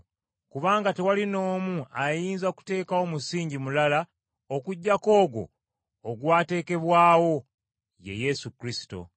Kubanga tewali n’omu ayinza kuteekawo musingi mulala okuggyako ogwo ogwateekebwawo, ye Yesu Kristo.